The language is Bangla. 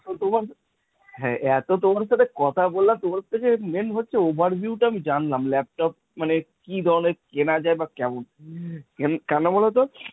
তো তোমার, হা এত তোমার সাথে কথা বলে তোমার থেকে main হচ্ছে overview টা আমি জানলাম। laptop মানে কি ধরণের কেনা যায় বা কেমন। কেন বোলো তো?